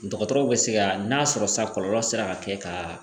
Dɔgɔtɔrɔw bɛ se ka n'a sɔrɔ sa kɔlɔlɔ sera ka kɛ ka